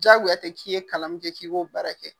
Jaagoya tɛ k'i ye kalan min kɛ k'i k'o baara kɛ.